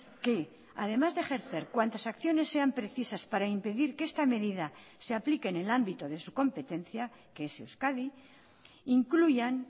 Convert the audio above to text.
que además de ejercer cuantas acciones sean precisas para impedir que esta medida se aplique en el ámbito de su competencia que es euskadi incluyan